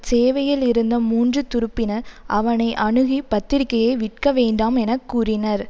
சேவையில் இருந்த மூன்று துருப்பினர் அவனை அணுகி பத்திரிகையை விற்க வேண்டாம் என கூறினர்